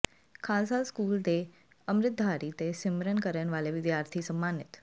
Khalsa school ਦੇ ਅੰਮਿ੍ਤਧਾਰੀ ਤੇ ਸਿਮਰਨ ਕਰਨ ਵਾਲੇ ਵਿਦਿਆਰਥੀ ਸਨਮਾਨਿਤ